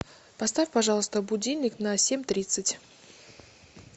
поставь пожалуйста будильник на семь тридцать